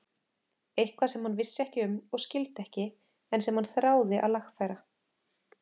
Eitthvað sem hann vissi ekki um og skildi ekki en sem hann þráði að lagfæra.